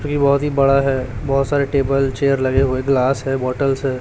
ये बहुत ही बड़ा है बहुत सारे टेबल चेयर लगे हुए ग्लास है बॉटल्स है।